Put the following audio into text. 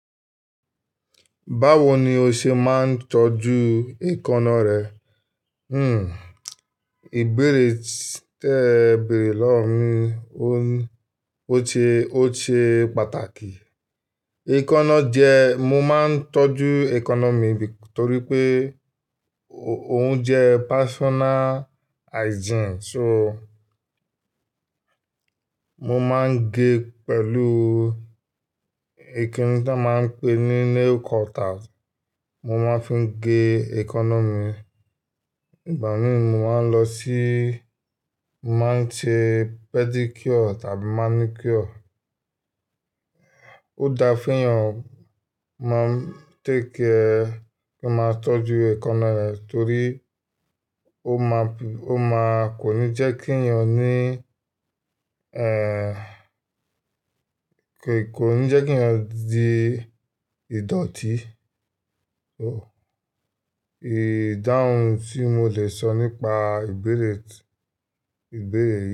Báwo ni o ṣe máa ń tọ́jú èékánná rẹ? Hmm, ìbéèrè tẹ bẹ̀rẹ̀ lọ́wọ́ mi, ó ń, ó ṣe, ó ṣe pàtàkì. Èékánná jẹ, mo máa ń tọ́jú economy torí pé ó ń jẹ personal hygiene. So, mo máa ń gé pẹ̀lú kini tí a máa ń pè ní nail cutter, mo máa ń fi gé èkáná. Ìgbà mìí mo máa ń lọ sí, mo máa ń ṣe pedicure àti manicure. Ó da fún èèyàn máa take care, kí a máa tọ́jú èkáná rẹ̀ torí ó máa, ó máa, kò ní jẹ́kí èèyàn ní, eh, kò ní jẹ́kí èèyàn di ìdọ̀tí. So, ìdáhùn tí mo lè sọ nípa ìbéèrè tì, ìbéèrè.